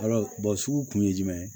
sugu kun ye jumɛn ye